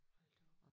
Hold da op